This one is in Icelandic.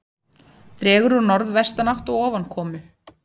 Dregur úr norðvestanátt og ofankomu